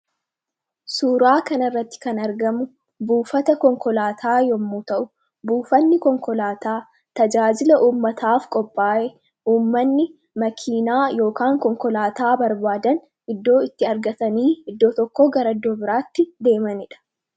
suuraa kana irratti kan argamu buufata konkolaataa yommuu ta'u buufanni konkolaataa tajaajila uummataaf qophaa'e uummanni makiinaay konkolaataa barbaadan iddoo itti argatanii iddoo tokko garaddoo biraatti deemaniidha